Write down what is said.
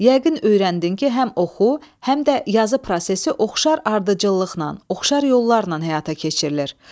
Yəqin öyrəndin ki, həm oxu, həm də yazı prosesi oxşar ardıcıllıqla, oxşar yollarla həyata keçirilir.